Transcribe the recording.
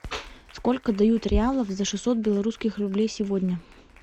сколько дают реалов за шестьсот белорусских рублей сегодня